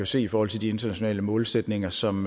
se i forhold til de internationale målsætninger som